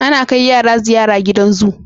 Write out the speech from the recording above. Ana kai yara ziyara gidan zoo